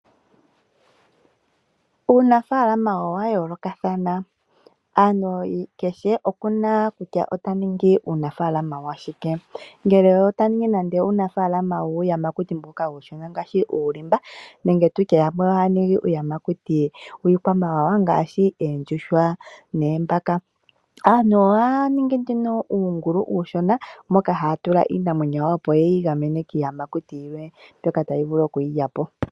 Uunafaalama owayoolokathana, omuntu kehe okuna kutya ota ningi uunafaalama washike, ngele ota ningi nande uunafaalama wuuyamakuti mboka uushona ngaashi uulimba, nenge tutye yamwe ohaya ningi iiyamakuti yiikwamawawa ngaashi oondjuhwa, noombaka. Aantu ohaya ningi nduno uungulu uushona moka haya tula iimamwenyo yawo opo yeyi gamene kiiyamakuti yilwe mbyoka tayi vulu okuyi lya po.